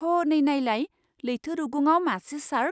हनै नायलाय! लैथो रुगुंआव मासे शार्क!